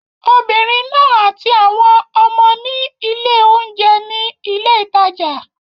Obìnrin náà àti àwọn ọmọ ní ilé-oúnjẹ ní ilé ìtajà.